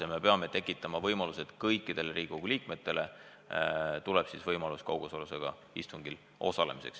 Selleks peame tekitama võimaluse, et kõikidele Riigikogu liikmetele tuleb tagada võimalus kaugosalusega istungil osaleda.